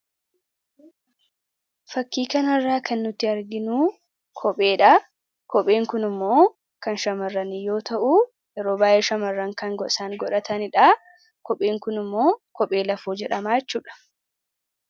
fakkii kana irraa kan nuti arginuu kopheedha kopheen kun immoo kan shamarrani yoo ta'u yeroo baay'ee shamarran kan gosaan godhataniidha. kopheen kun immoo kophee lafoo jedhama jechuudha